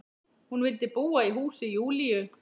Hún vildi búa í húsi Júlíu.